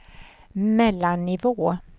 mellannivå